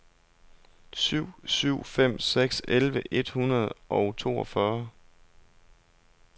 syv syv fem seks elleve et hundrede og toogfyrre